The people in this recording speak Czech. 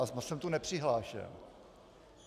A jsem tu nepřihlášen.